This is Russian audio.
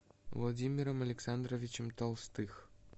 владимиром александровичем толстых